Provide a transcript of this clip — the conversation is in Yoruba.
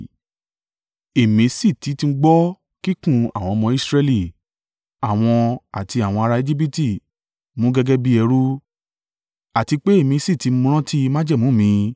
Èmi sì ti tún gbọ́ kíkùn àwọn ọmọ Israẹli àwọn tí àwọn ará Ejibiti mú gẹ́gẹ́ bí ẹrú, àti pé èmi sì ti rántí májẹ̀mú mi.